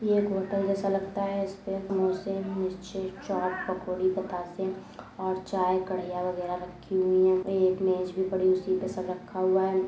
यह एक होटल जैसा लगता है इसमें समोसे मिर्ची चाट पकोड़ी बताशा और चाय कढ़ैया वगेरा रखी हुई है एक मेज भी पड़ी हुई है उसी पे सब रखा हुआ है।